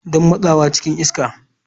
Don motsawa cikin iska.